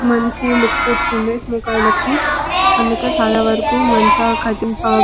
మంచి లుక్కు వస్తుంది ముఖాలకి అందుకే చాలా వరకు మంచి కట్టింగ్ షాప్ .